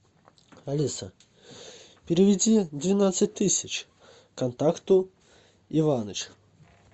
алиса переведи двенадцать тысяч контакту иваныч